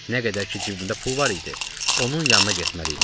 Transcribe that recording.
Nə qədər ki cibimdə pul var idi, onun yanına getməli idim.